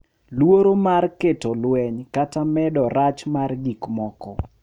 Luoro mar kelo lweny kata medo rach mar gik moko.